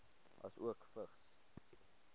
asook vigs